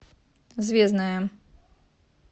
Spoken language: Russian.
звездная